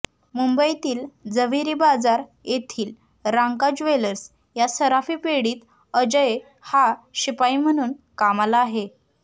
मुंबईतील जव्हेरी बाजार येथील रांका ज्वेलर्स या सराफी पेढीत अजय हा शिपाई म्हणून कामाला आहे